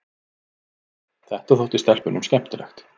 Þetta þótti stelpunum skemmtilegt.